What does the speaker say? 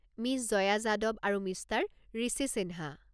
Ms Jaya Yadav আৰু Mr Rishi Sinha.